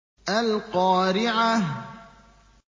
الْقَارِعَةُ